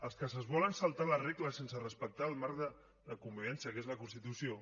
els que es volen saltar les regles sense respectar el marc de convivència que és la constitució